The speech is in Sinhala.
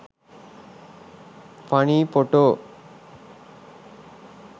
funny photo